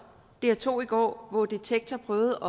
dr to i går hvor detektor prøvede